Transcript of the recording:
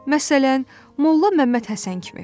Məsələn, molla Məmmədhəsən kimi.